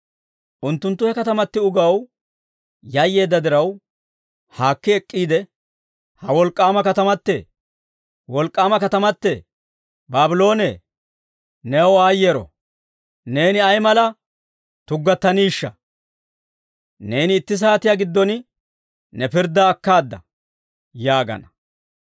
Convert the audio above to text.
Unttunttu he katamati ugaw yayyeedda diraw, haakki ek'k'iide, «Ha wolk'k'aama katamatee! Wolk'k'aama katamatee! Baabloonee, new aayyeero! Neeni ay mala tuggattaniishsha. Neeni itti saatiyaa giddon ne pirddaa akkaada» yaagana.